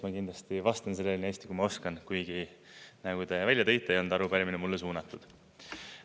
Ma kindlasti vastan sellele nii hästi, kui ma oskan, kuigi nagu te välja tõite, ei olnud arupärimine mulle suunatud.